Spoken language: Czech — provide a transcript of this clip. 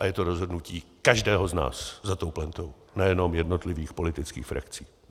A je to rozhodnutí každého z nás za tou plentou, nejenom jednotlivých politických frakcí.